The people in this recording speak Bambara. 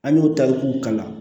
An y'o ta k'u kalan